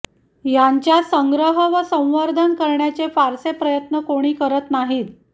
यांच्या संग्रह व संवर्धन करण्याचे फारसे प्रयत्न कोणी करत नाहीत